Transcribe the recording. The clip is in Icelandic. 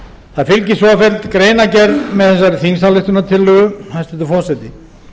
það fylgir svofelld greinargerð með þessari þingsályktunartillögu hæstvirtur forseti